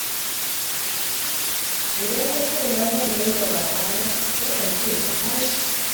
Idan na tsoguna zan gai da babana yakan ce na tashi